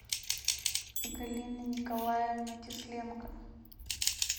галина николаевна кисленко